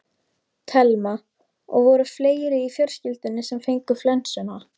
Telma: Og voru fleiri í fjölskyldunni sem fengu flensuna?